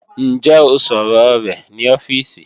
Ǹjẹ́ ó sọ̀rọ rẹ̀ ní ọ́fíìsì?